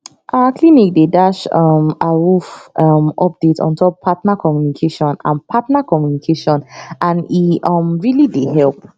our clinic dey dash um awoof um update ontop partner communication and partner communication and e um really dey help